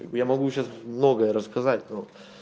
я могу сейчас многое рассказать но